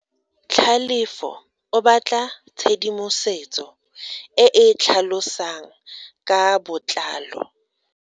Tlhalefo o batla tshedimosetso e e tlhalosang ka botlalo.